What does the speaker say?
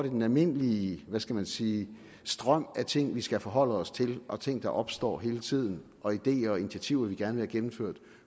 i den almindelige hvad skal man sige strøm af ting vi skal forholde os til og ting der opstår hele tiden og ideer og initiativer vi gerne vil have gennemført